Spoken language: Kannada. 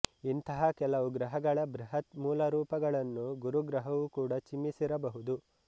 ಇಂತಹ ಕೆಲವು ಗ್ರಹಗಳ ಬೃಹತ್ ಮೂಲರೂಪಗಳನ್ನು ಗುರುಗ್ರಹವು ಕೂಡ ಚಿಮ್ಮಿಸಿರಬಹುದು